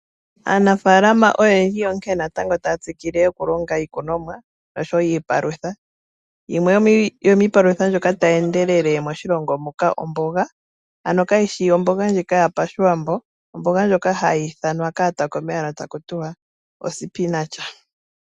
Aanafaalama oyendji onkene natango taya tsikile noku longa iikunomwa noshowo iipalutha. Yimwe yomiipalutha tayi endelele moshilongo omboga. Ano kayishi omboga ndjika yopashiwambo, omboga ndjoka hayi ithanwa kaatakumi taku ti ' ospinach'.